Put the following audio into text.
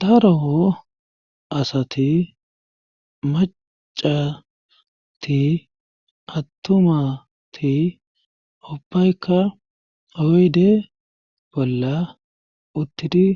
Daro asati macati attumati ubbaykka oyde bolla uttidi